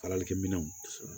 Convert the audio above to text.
Faralikɛminɛw